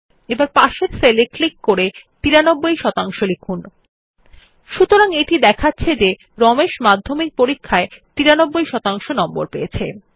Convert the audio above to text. এখন পার্শ্ববর্তী সেল এ ক্লিক করে ৯৩ শতাংশ লিখুন সুতরাং এটি দেখাচ্ছে যে রমেশ মাধ্যমিক পরীক্ষায় 93 শতাংশ নম্বর পেয়েছে